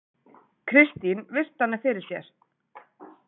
Kristín virti hana fyrir sér.